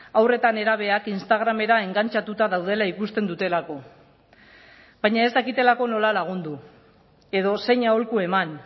haur eta nerabeak instagramera engantxatuta daudela ikusten dutelako baina ez dakitelako nola lagundu edo zein aholku eman